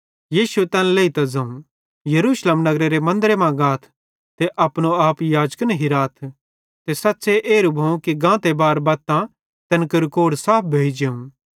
यीशुए तैन लेइतां ज़ोवं यरूशलेम नगरेरे मन्दरे मां गाथ ते अपनो आप याजकन हिराथ ते सच़्च़े एरू भोवं कि गाते बार बत्तां तैन केरू कोढ़ साफ भोइ जेवं